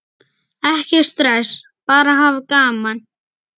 Ekkert stress, bara hafa gaman!